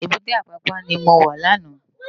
Ébùté Apapa ni mó wá làná